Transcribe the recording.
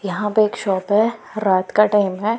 यहां पे एक शॉप है रात का टाइम है।